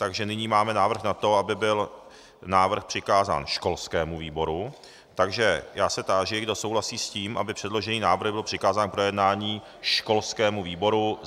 Takže nyní máme návrh na to, aby byl návrh přikázán školskému výboru, takže já se táži, kdo souhlasí s tím, aby předložený návrh byl přikázán k projednání školskému výboru.